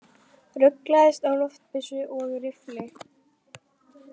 Ruglaðist á loftbyssu og riffli